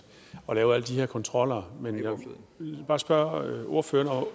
lave her kontroller men jeg vil bare spørge ordføreren